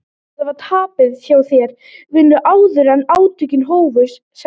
Þetta var tapað hjá þér vinur áður en átökin hófust, sagði